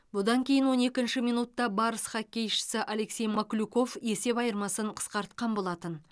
бұдан кейін он екінші минутта барыс хоккейшісі алексей маклюков есеп айырмасын қысқартқан болатын